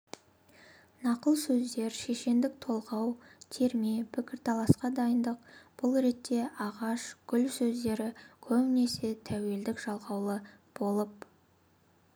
нақыл сөздер шешендік толғау терме пікірталасқа дайындық бұл ретте ағаш гүл сөздері көбінесе тәуелдік жалғаулы болып